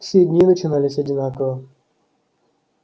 все дни начинались одинаково